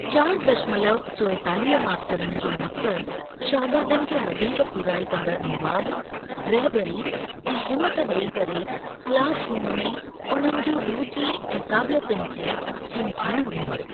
चारि दशमलव चोएतालीह मास्तरनि जो मक़सद शागिर्दनि खे वधीक पूराई कंदड़ मवाद, रहबरी ऐं हिमथ ॾेई करे क्लासरूम में उन्हनि जी रुचि ऐं काबिलियतुनि खे हिमथाइण हूंदो।